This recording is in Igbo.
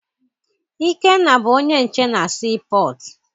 Ikenna bụ onye nche na sii pọtụ.